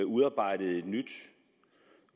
udarbejdede et nyt